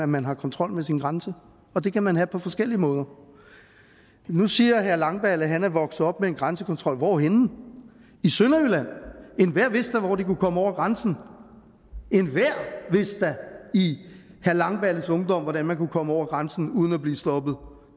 man har kontrol med sin grænse og det kan man have på forskellige måder nu siger herre langballe at han er vokset op med en grænsekontrol hvorhenne i sønderjylland enhver vidste da hvor de kunne komme over grænsen enhver vidste da i herre langballes ungdom hvordan man kunne komme over grænsen uden at blive stoppet